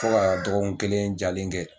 Fo ka dɔgɔ kun kelen jalen kɛ.